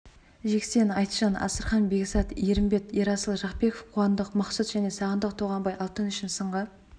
жексен айтжан асырхан бекзат ерімбет ерасыл жақпеков қуандық мақсұт және сағындық тоғамбай алтын үшін сынға